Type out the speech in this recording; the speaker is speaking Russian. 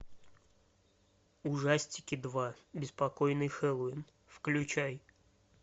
ужастики два беспокойный хэллоуин включай